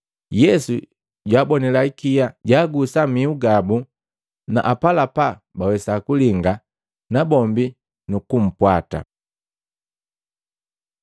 Yesu jwaabonila ikia, jwaagusa mihu gabu na apalapa bawesa kulinga nabombi nukumpwata.